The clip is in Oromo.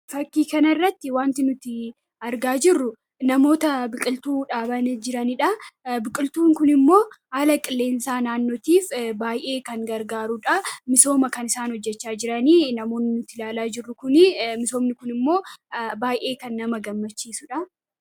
Fakkii kana irratti wanti nuti argaa jirru namoota biqiltuu dhaabanii jiraniidha. Biqiltuu kun immoo haala qilleensaa naannotiif baay'ee kan gargaaruudha misooma kan isaan hojjechaa jiranii namoonni nuti ilaalaa jiru misoomni kun immoo baay'ee kan nama gammachiisuudha.